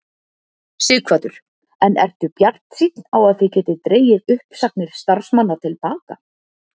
Sighvatur: En ertu bjartsýnn á að þið getið dregið uppsagnir starfsmanna til baka?